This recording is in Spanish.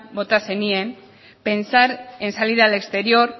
bota zenien pensar en salir al exterior